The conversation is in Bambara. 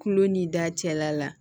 Kulo ni da cɛla la